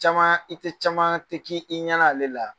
Caman i tɛ caman tɛ k i ɲɛna ale la